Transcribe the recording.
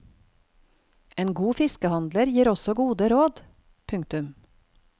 En god fiskehandler gir også gode råd. punktum